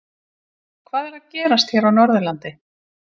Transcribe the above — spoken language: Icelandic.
Hvað er að gerast hér á Norðurlandi?